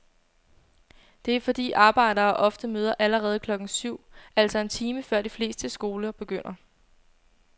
Det er fordi arbejdere ofte møder allerede klokken syv, altså en time før de fleste skoler begynder.